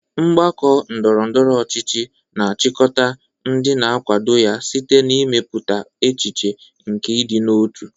Mgbakọ ndọrọ ndọrọ ọchịchị na-achịkọta ndị na-akwado ya site n'ịmepụta echiche nke ịdị n'otu.